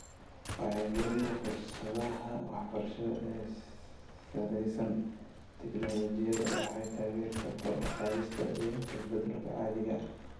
Wacyigelinta fursadaha waxbarasho ee ku salaysan tignoolajiyada waxay taageertaa kor u qaadista iyo isbeddelka caadiga ah .